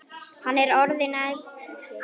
Hann er orðinn ekkill.